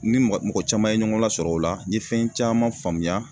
I ni mɔgɔ caman ye ɲɔgɔn lasɔrɔ o la n ye fɛn caman faamuya